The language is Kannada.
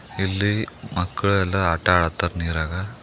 ಇಲ್ಲಿ ಮಕ್ಕಳೆಲ್ಲ ಆಟ ಆಡ್ತಾರ್ ನೀರಾಗ